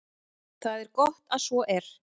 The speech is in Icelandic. Það er gott að svo er.